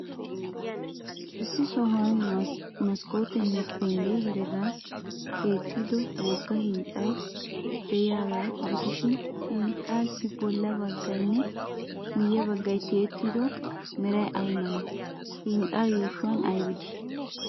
Issi sohuwan maskkootenne penggee heregan keexettido wogga hinxxay de'iyaagaa gidishin, hinxxaassi bolla baggaynne miyye baggay tiyettido meray ay malee? Hinxxaa yuushuwan aybi de'ii?